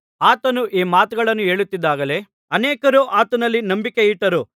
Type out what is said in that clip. ಆತನು ಈ ಮಾತುಗಳನ್ನು ಹೇಳುತ್ತಿದ್ದಾಗಲೇ ಅನೇಕರು ಆತನಲ್ಲಿ ನಂಬಿಕೆಯಿಟ್ಟರು